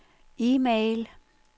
e-mail